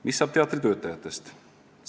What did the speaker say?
"Mis saab teatri töötajatest?